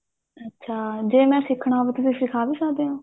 ਅੱਛਾ ਜੇ ਮੈਂ ਸਿੱਖਣਾ ਹੋਵੇ ਤੁਸੀਂ ਸਿਖਾ ਵੀ ਸਕਦੇ ਓ